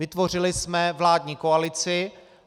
Vytvořili jsme vládní koalici.